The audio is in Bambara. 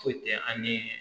Foyi tɛ an ni